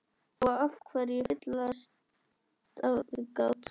Og af hverju fyllsta aðgát?